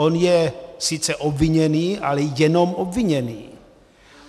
On je sice obviněný, ale jenom obviněný.